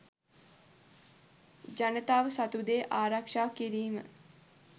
ජනතාව සතුදේ ආරක්ෂා කිරීම